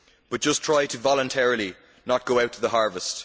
But just try to voluntarily not go out to the harvest!